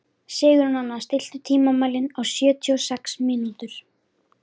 Sigurnanna, stilltu tímamælinn á sjötíu og sex mínútur.